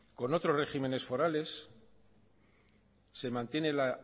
con otros regímenes forales se mantiene la